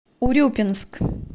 урюпинск